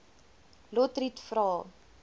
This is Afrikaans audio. lotriet vra